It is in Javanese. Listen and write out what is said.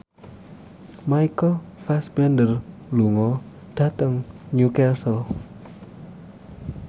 Michael Fassbender lunga dhateng Newcastle